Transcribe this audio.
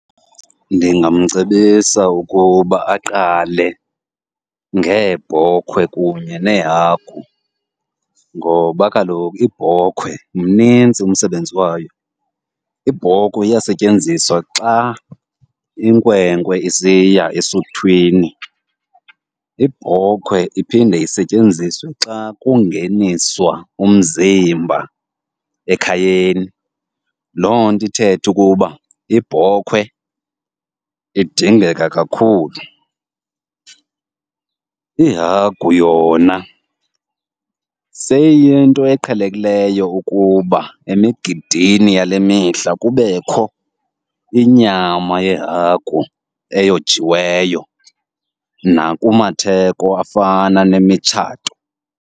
Ndingamcebisa ukuba aqale ngeebhokhwe kunye neehagu ngoba kaloku ibhokhwe mnintsi umsebenzi wayo. Ibhokwe iyasetyenziswa xa inkwenkwe isiya esuthwini, ibhokwe iphinde isetyenziswe xa kungeniswa umzimba ekhayeni. Loo nto ithethe ukuba ibhokhwe idingeka kakhulu. Ihagu yona seyiyinto eqhelekileyo ukuba emigidini yale mihla kubekho inyama yehagu eyojiweyo nakumatheko afana nemitshato.